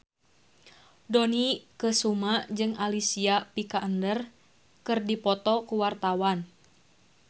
Dony Kesuma jeung Alicia Vikander keur dipoto ku wartawan